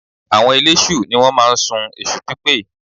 Àwọn eléṣù ni wọ́n máa ń sun èṣùpípè